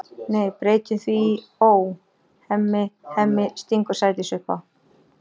Nei, breytum því í Ó, Hemmi, Hemmi, stingur Sædís upp á.